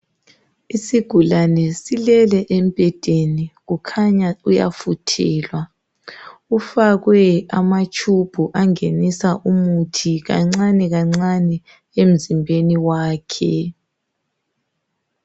Isigulane silele embhedeni kukhanya uyafuthelwa .ufakwe amatshubhu angenisa umuthi kancane kancane emzimbeni wakhe.